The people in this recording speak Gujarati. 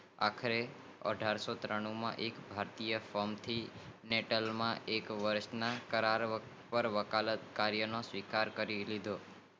અઠારશોતાણું એક ભારતીય ફ્રોમ થી બ્રિટિન ના એક વર્ષ ના કરાર પાર વકાલત કાર્ય નો સ્વીકાર કરી લીધો